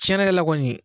Tiɲɛnikɛla kɔni